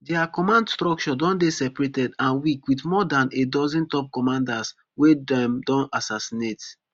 dia command structure don dey separated and weak wit more dan a dozen top commanders wey dem don assassinate